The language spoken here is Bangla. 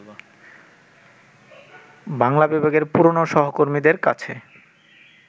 বাংলা বিভাগের পুরনো সহকর্মীদের কাছে